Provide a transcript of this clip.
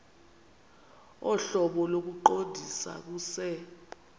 ohlobo lokuqondisa kuse